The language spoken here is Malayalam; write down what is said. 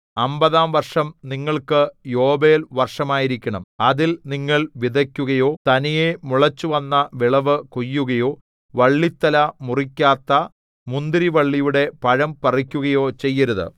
അമ്പതാം വർഷം നിങ്ങൾക്ക് യോബേൽ വർഷമായിരിക്കണം അതിൽ നിങ്ങൾ വിതയ്ക്കുകയോ തനിയെ മുളച്ചുവന്ന വിളവ് കൊയ്യുകയോ വള്ളിത്തല മുറിക്കാത്ത മുന്തിരിവള്ളിയുടെ പഴം പറിക്കുകയോ ചെയ്യരുത്